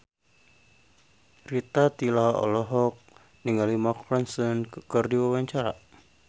Rita Tila olohok ningali Mark Ronson keur diwawancara